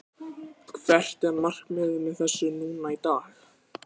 Hvert er markmiðið með þessu núna í dag?